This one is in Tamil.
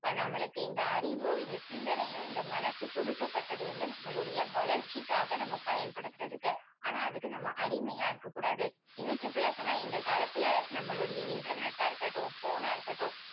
இப்போ நம்மளுக்கு இந்த அறிவும் இந்த சிந்தனையும் இந்த மனசு கொடுக்கப்பட்டது வந்து நம்மளுடைய வளர்ச்சிக்காக நமக்கு பயன்படுத்துறதுக்கு. ஆனா அதுக்கு நம்ம அடிமையா இருக்க கூடாது இன்னும் simple ஆ சொன்னா இந்த காலத்துல நம்மளுடைய internet டா இருக்கட்டும் phone னா இருக்கட்டும்